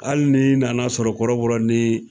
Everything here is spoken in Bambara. Hali ni nana sɔrɔ kɔrɔbɔrɔ ni